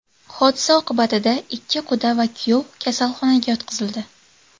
Hodisa oqibatida ikki quda va kuyov kasalxonaga yotqizildi.